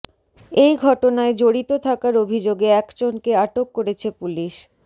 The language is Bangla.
এই ঘটনায় জড়িত থাকার অভিযোগে একজনকে আটক করেছে পুলিশ